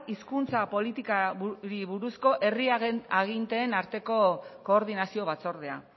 hizkuntza politikari buruzko herriaren aginteen arteko koordinazio batzordea